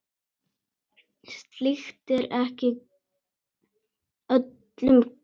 Slíkt er ekki öllum gefið.